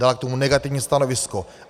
Dala k tomu negativní stanovisko.